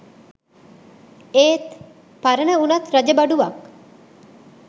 ඒත් “පරණ වුණත් රජ බඩුවක්”